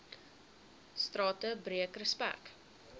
strate breek respek